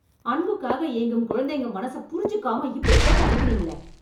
அன்புக்காக ஏங்கும் குழந்தைங்க மனசை புரிஞ்சுக்காம இப்டி போட்டு அடிக்கறீங்களே....